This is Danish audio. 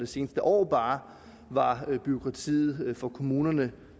seneste år var var bureaukratiet for kommunerne